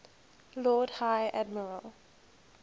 lord high admiral